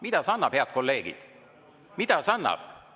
Mida see annab, head kolleegid, mida see annab?